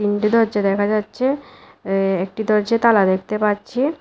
তিনটি দরজা দেখা যাচ্ছে এ-একটি দরজায় তালা দেখতে পাচ্ছি।